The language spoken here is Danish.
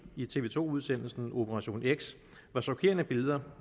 i tv to udsendelsen operation x var chokerende billeder